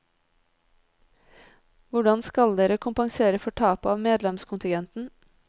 Hvordan skal dere kompensere for tapet av medlemskontingenten?